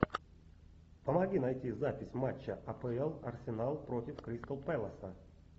помоги найти запись матча апл арсенал против кристал пэласа